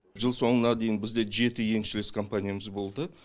жыл соңына дейін бізде жеті еншілес компаниямыз болды